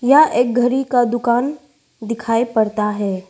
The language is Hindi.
यह एक घड़ी का दुकान दिखाई पड़ता है।